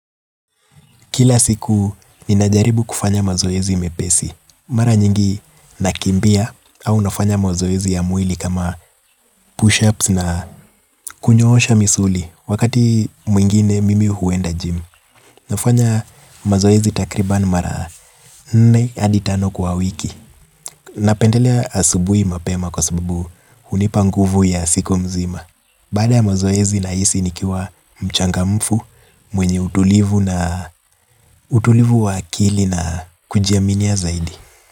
Kila siku, ninajaribu kufanya mazoezi mepesi. Mara nyingi nakimbia au nafanya mazoezi ya mwili kama push-ups na kunyohosha misuli wakati mwingine mimi huenda gym. Nafanya mazoezi takriban mara nne adi tano kwa wiki. Napendelea asubui mapema kwa sababu hunipa nguvu ya siku mzima. Baada ya mozoezi nahisi nikiwa mchangamfu mwenye utulivu na utulivu wa akili na kujiaminia zaidi.